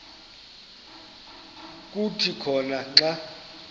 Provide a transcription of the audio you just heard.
kuthi khona xa